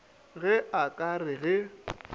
ge a ka re ge